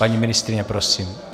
Paní ministryně, prosím.